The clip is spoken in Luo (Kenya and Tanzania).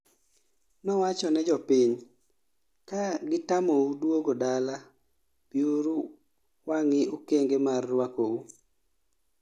Nowacho ne jopiny:"kaa gitamou duogo dala, biunu wangi okenge mar ruako uu"